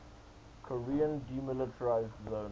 korean demilitarized zone